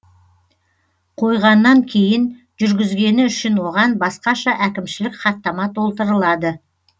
қойғаннан кейін жүргізгені үшін оған басқаша әкімшілік хаттама толтырылады